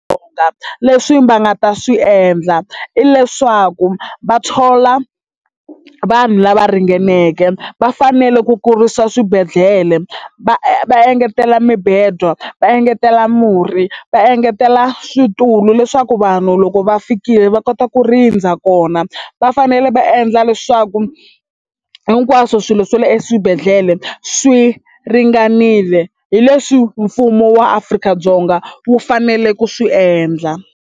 Leswi va nga ta swi endla i leswaku va thola vanhu lava ringaneke va fanele ku kurisa swibedhlele va va engetela mibedwa va engetela murhi va engetela switulu leswaku vanhu loko va fikile va kota ku rindza kona va fanele va endla leswaku hinkwaswo swilo swa le eswibedhlele swi ringanile hi leswi mfumo wa Afrika-Dzonga wu fanele ku swi endla.